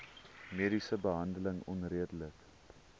mediese behandeling onredelik